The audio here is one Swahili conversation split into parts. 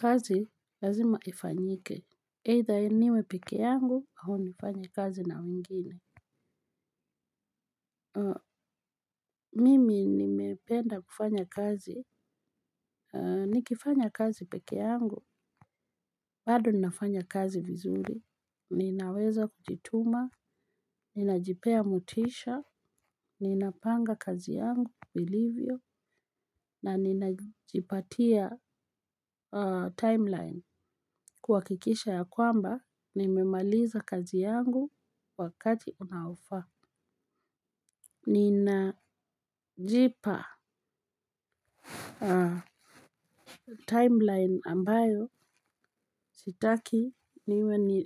Kazi lazima ifanyike, either niwe peke yangu, au nifanye kazi na wengine. Mimi nimependa kufanya kazi, nikifanya kazi peke yangu, bado ninafanya kazi vizuri, ninaweza kujituma, ninajipea motisha, ninapanga kazi yangu vilivyo, na ninajipatia timeline. Kuhakikisha ya kwamba, nimemaliza kazi yangu wakati unaofaa. Ninajipa timeline ambayo sitaki niwe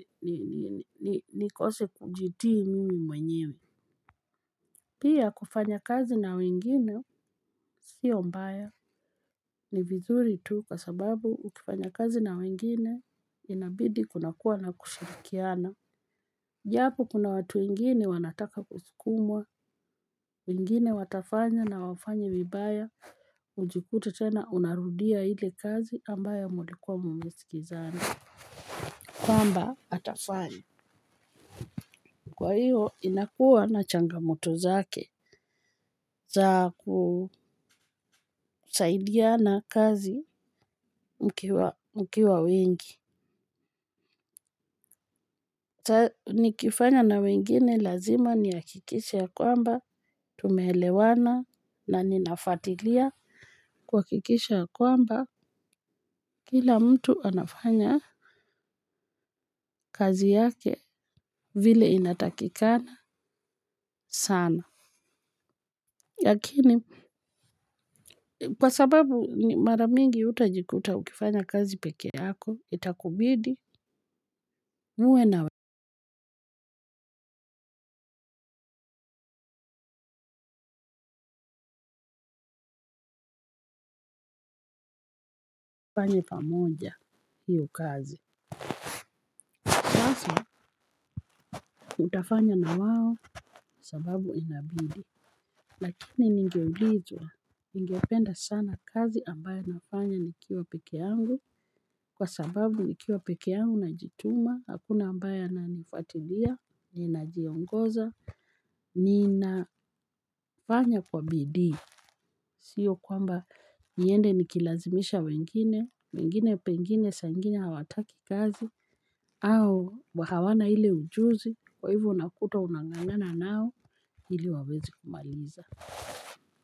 nikose kujitii mimi mwenyewe. Pia kufanya kazi na wengine sio mbaya ni vizuri tu kwa sababu ukifanya kazi na wengine inabidi kunakuwa na kushirikiana. Japo kuna watu wengini wanataka kusukumwa, wengine watafanya na wafanye vibaya, ujikute tena unarudia ile kazi ambayo mlikuwa mmesikizana. Kwamba, atafanya. Kwa hiyo, inakuwa na changamoto zake za kusaidiana kazi mkiwa wengi. Nikifanya na wengine lazima nihakikishe ya kwamba tumeelewana na nina fuatilia kuhakikisha kwamba kila mtu anafanya kazi yake vile inatakikana sana lakini kwa sababu mara mingi utajikuta ukifanya kazi peke yako itakubidi muwe na mfanye pamoja hiyo kazi. Sasa utafanya na wao sababu inabidi. Lakini ningeulizwa. Ningependa sana kazi ambayo nafanya nikiwa peke yangu. Kwa sababu nikiwa peke yangu najituma. Hakuna ambaye ananifuatilia. Ninajiongoza. Ninafanya kwa bidii. Sio kwamba niende nikilazimisha wengine. Wengine pengine saa ingine hawataki kazi. Au hawana ile ujuzi kwa hivo unakuta unang'ang'ana nao ili wawezi kumaliza.